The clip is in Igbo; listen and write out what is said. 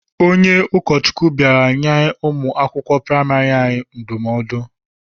Onye ụkọchukwu bịara nye ụmụ akwụkwọ praịmarị anyị ndụmọdụ.